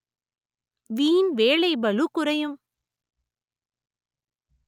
வீண் வேலை பளு குறையும்